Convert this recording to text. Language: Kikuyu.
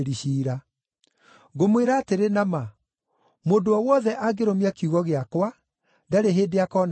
Ngũmwĩra atĩrĩ na ma, mũndũ o wothe angĩrũmia kiugo gĩakwa, ndarĩ hĩndĩ akona gĩkuũ.”